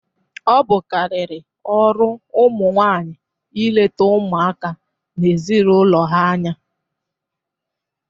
Ọ bụ karịrị ọrụ ụmụ nwanyị ịleta ụmụaka na ezinaụlọ ha anya